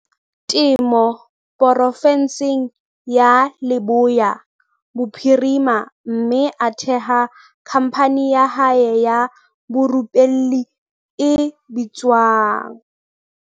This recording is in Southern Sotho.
Temo porofenseng ya Leboya Bophirima mme a theha khamphani ya hae ya borupelli e bitswang